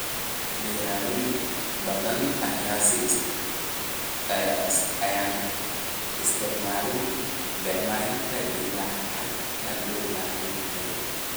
Beeraley badan ayaan isticmaalin bacriminta ilaa xadka loo baahan yahay.